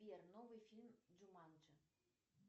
сбер новый фильм джуманджи